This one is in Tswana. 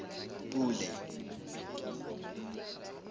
pule